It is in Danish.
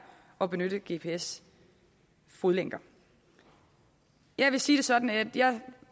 og benytte gps fodlænker jeg vil sige det sådan at jeg